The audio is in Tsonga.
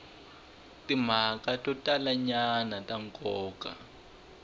timhaka to talanyana ta nkoka